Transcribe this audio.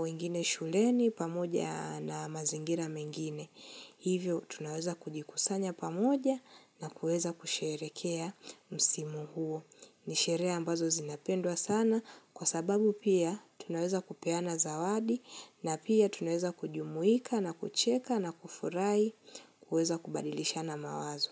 wengine shuleni pamoja na mazingira mengine. Hivyo tunaweza kujikusanya pamoja na kuweza kusherehekea msimu huo. Ni sherehe ambazo zinapendwa sana kwa sababu pia tunaweza kupeana zawadi na pia tunaweza kujumuika na kucheka na kufurahi kuweza kubadilishana mawazo.